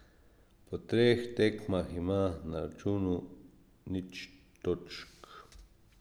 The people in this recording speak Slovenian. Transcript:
Po treh tekmah ima na računu nič točk.